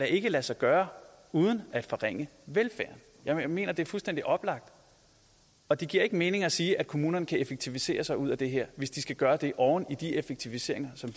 ikke lade sig gøre uden at forringe velfærden jeg mener det er fuldstændig oplagt og det giver ikke mening at sige at kommunerne kan effektivisere sig ud af det her hvis de skal gøre det oven i de effektiviseringer som